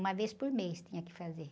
Uma vez por mês tinha que fazer.